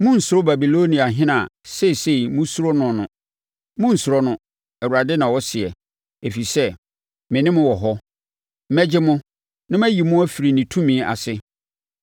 Monnsuro Babiloniahene a seesei mosuro noɔ no. Monnsuro no, Awurade na ɔseɛ, ɛfiri sɛ, me ne mo wɔ hɔ, mɛgye mo, na mayi mo afiri ne tumi ase.